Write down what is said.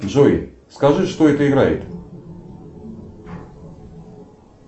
джой скажи что это играет